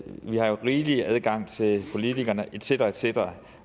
vi har rigelig adgang til politikerne et cetera et cetera